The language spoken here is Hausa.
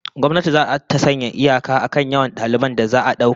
Gwamnati zata sanya iyaka akan yawan daliban da za'a dauka